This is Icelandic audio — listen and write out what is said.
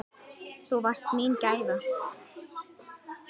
Þú varst mín gæfa.